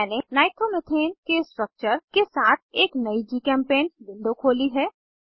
मैंने नाइट्रोमेथेन के स्ट्रक्चर्स के साथ एक नयी जीचेम्पेंट विंडो खोली है